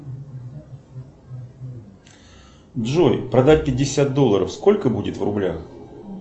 джой продать пятьдесят долларов сколько будет в рублях